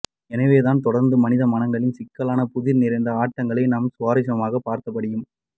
எனவேதான் தொடர்ந்தும் மனித மனங்களின் சிக்கலான புதிர் நிறைந்த ஆட்டங்களை நாம் சுவாரசியமாகப் பார்த்தபடியும்